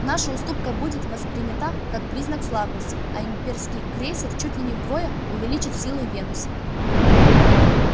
наша уступка будет воспринята как признак слабости а имперский крейсер чуть ли не вдвое увеличит силы венуса